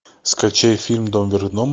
скачай фильм дом вверх дном